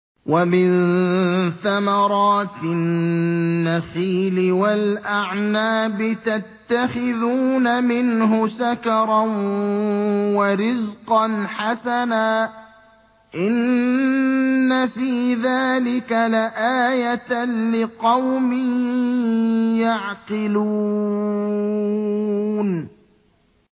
وَمِن ثَمَرَاتِ النَّخِيلِ وَالْأَعْنَابِ تَتَّخِذُونَ مِنْهُ سَكَرًا وَرِزْقًا حَسَنًا ۗ إِنَّ فِي ذَٰلِكَ لَآيَةً لِّقَوْمٍ يَعْقِلُونَ